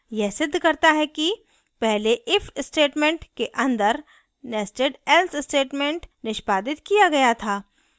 यह सिद्ध करता है कि पहले if statement के अंदर nested else statement निष्पादित किया गया था